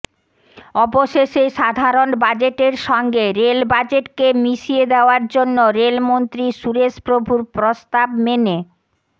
অবশেষে সাধারণ বাজেটের সঙ্গে রেল বাজেটকে মিশিয়ে দেওয়ার জন্য রেলমন্ত্রী সুরেশ প্রভুর প্রস্তাব মেনে